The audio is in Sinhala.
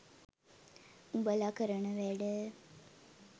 උඹලා කරන වැඩ